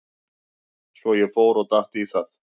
Svo ég fór og datt í það.